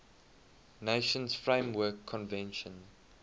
nations framework convention